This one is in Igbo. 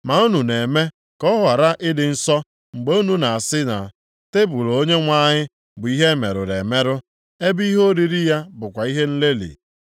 “Ma unu na-eme ka ọ ghara ịdị nsọ mgbe unu na-asị na, Tebul Onyenwe anyị bụ ihe e merụrụ emerụ, ebe ihe oriri ya bụkwa ihe nlelị.